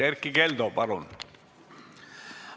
Erkki Keldo, palun!